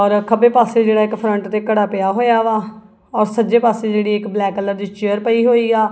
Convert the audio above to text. ਔਰ ਅ ਖੱਬੇ ਪਾਸੇ ਜਿਹੜਾ ਇੱਕ ਫਰੰਟ ਤੇ ਘੜਾ ਪਿਆ ਹੋਇਆ ਵਾ ਔਰ ਸੱਜੇ ਪਾਸੇ ਜਿਹੜੀ ਇੱਕ ਬਲੈਕ ਕਲਰ ਦੀ ਚੇਅਰ ਪਈ ਹੋਈ ਆ।